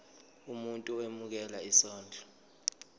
umuntu owemukela isondlo